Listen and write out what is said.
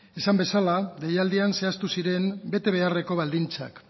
esan bezala deialdian zehaztu ziren betebeharreko baldintzak